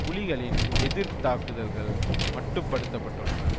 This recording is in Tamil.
புலிகளின் எதிர் தாக்குதல்கள் மட்டுப்படுத்தப்பட்டுள்ளன